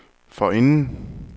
forinden